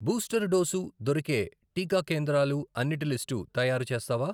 Booster dose దొరికే టీకా కేంద్రాలు అన్నిటి లిస్టు తయారుచేస్తావా?